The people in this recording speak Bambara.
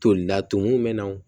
Tolila tumu bɛ nanw